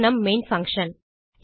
இது நம் main function